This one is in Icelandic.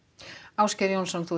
Ásgeir Jónsson